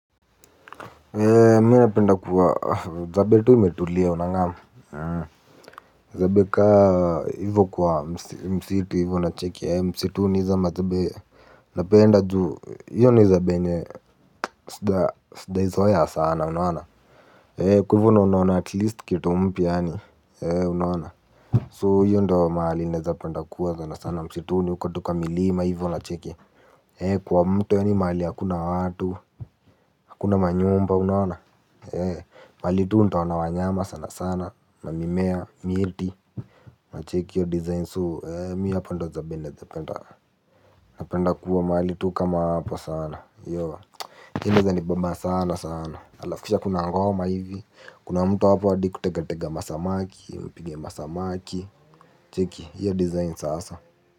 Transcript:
Mi napenda kuwa zabe tu imetulia unangam zabe kaa hivo kwa msitu hivo unacheki msituni izo mazabe napenda juu hio ni zabe yenye sijaizoea sana unaona kwa ivo no unaona at least kitu mpya yani unaona so hiyo ndo mahali naeza penda kuwa sana sana msituni uko tu kwa milima hivo nacheki kwa mto yani mahali hakuna watu. Hakuna manyumba unaona? Mali tu ntaona wanyama sana sana, mamimea, miti, unacheki hio design so mi hapo ndio zabe naezapenda. Napenda kuwa maali tu kama hapa sana, hio inaeza nibamba sana sana. Alaf kisha kuna ngoma hivi, kuna mtu hapo adi kutegatega masamaki, mpige masamaki, cheki hio design sasa.